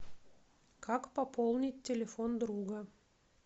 как пополнить телефон друга